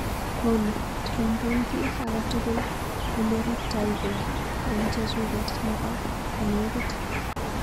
Olly, trompen kiiy akatukul oleruptaike eng chechuket nebo konekit.